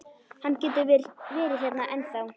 Hann getur verið hérna ennþá.